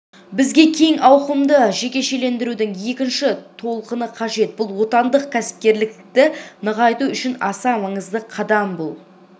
бізге кең ауқымды жекешелендірудің екінші толқыны қажет бұл отандық кәсіпкерлікті нығайту үшін аса маңызды қадам бұл